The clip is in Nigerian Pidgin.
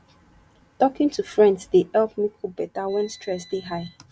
talking to friends dey help me cope better when stress dey high